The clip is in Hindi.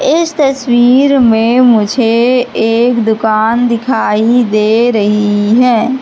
इस तस्वीर मे मुझे एक दुकान दिखाई दे रही है।